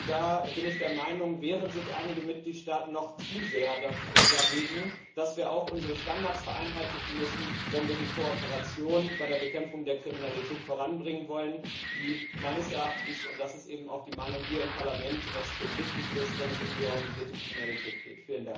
Da bin ich der Meinung, dass sich einige Mitgliedstaaten noch zu sehr dagegen wehren, dass wir auch unsere Standards vereinheitlichen müssen, wenn wir die Kooperation bei der Bekämpfung der Kriminalität voranbringen wollen, die meines Erachtens und das ist eben auch die Meinung hier im Parlament extrem wichtig ist, wenn es um die organisierte Kriminalität geht.